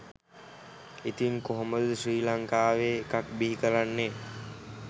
ඉතින් කොහොමද ශ්‍රී ලංකාවේ එකක් බිහි කරන්නේ?